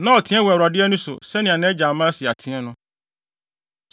Na ɔteɛ wɔ Awurade ani so, sɛnea nʼagya Amasia teɛ no.